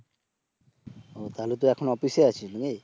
ও তাহলে তো এখন অফিস এ আছিস নাকি?